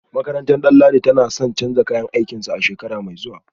Makarantar Danladi tana son canza kayan aikinsu a shekara mai zuwa